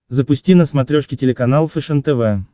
запусти на смотрешке телеканал фэшен тв